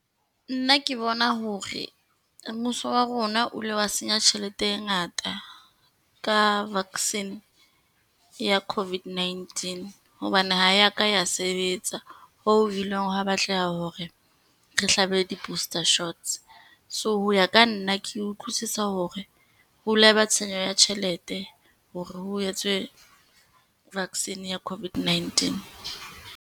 Nna ke bona hore mmuso wa rona o ile wa senya tjhelete e ngata ka vaccine ya covid ninetee. Hobane ha e ya ka ya sebetsa, ho ileng ha batleha hore re hlabe di-booster shots. So ho ya ka nna ke utlwisisa hore ho ila ba tshenyo ya tjhelete hore ho etswe vaccine ya COVID-19.